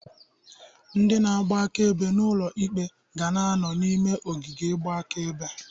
Ndị na-agba akaebe n'ụlọ ikpe ga na-anọ n'ime ogige igba akaebe.